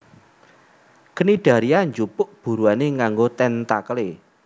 Cnidaria njupuk buruané nganggo téntakelé